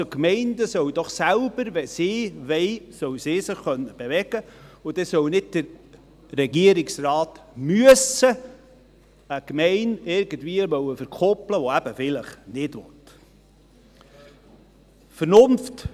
Also: Wenn die Gemeinden wollen, sollen sie sich doch selber bewegen können, und dann soll nicht der Regierungsrat eine Gemeinde, die eben vielleicht nicht will, irgendwie verkuppeln müssen.